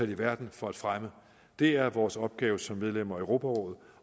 i verden for at fremme det er vores opgave som medlem af europarådet